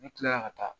Ne kilala ka taa